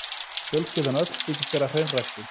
Fjölskyldan öll þykist vera hreinræktuð.